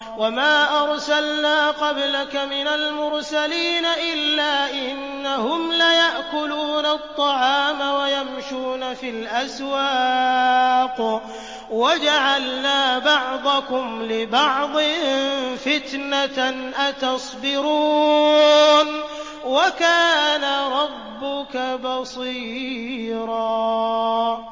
وَمَا أَرْسَلْنَا قَبْلَكَ مِنَ الْمُرْسَلِينَ إِلَّا إِنَّهُمْ لَيَأْكُلُونَ الطَّعَامَ وَيَمْشُونَ فِي الْأَسْوَاقِ ۗ وَجَعَلْنَا بَعْضَكُمْ لِبَعْضٍ فِتْنَةً أَتَصْبِرُونَ ۗ وَكَانَ رَبُّكَ بَصِيرًا